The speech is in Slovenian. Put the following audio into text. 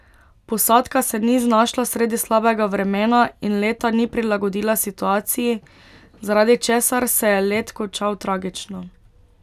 Posadka se ni znašla sredi slabega vremena in leta ni prilagodila situaciji, zaradi česar se je let končal tragično.